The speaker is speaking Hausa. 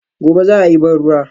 Gobe ​​za a yi ban ruwa